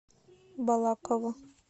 балаково